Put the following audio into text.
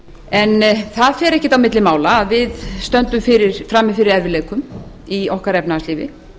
en það fer ekkert á milli mála að við stöndum frammi fyrir erfiðleikum í okkar efnahagslífi